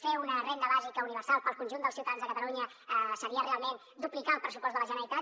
fer una renda bàsica universal per al conjunt dels ciutadans de catalunya seria realment duplicar el pressupost de la generalitat